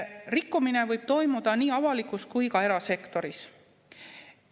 Rikkumine võib toimuda nii avalikus kui ka erasektoris.